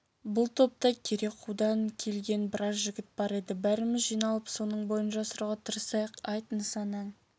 бұл топта керекуден келген біраз жігіт бар еді бәріміз жиналып соның бойын жасыруға тырысайық айт нысанаң